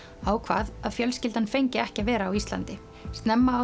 ákvað að fjölskyldan fengi ekki að vera á Íslandi